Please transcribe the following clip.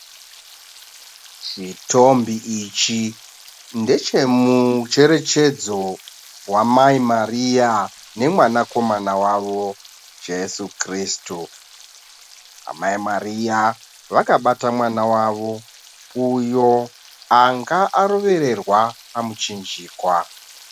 Chitombi ichi ndechemucherechedzo wamai Mariya nemwanakomana wavo Jeso Kirisitu. Amai Mariya vakabata mwana wavo, uyo anga arovererwa pamuchinjikwa.